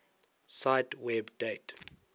cite web date